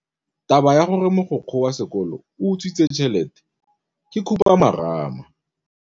Taba ya gore mogokgo wa sekolo o utswitse tšhelete ke khupamarama.